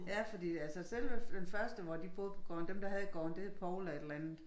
Ja fordi der altså selve den første hvor de boede på gården dem der havde gården det var Poul og et eller andet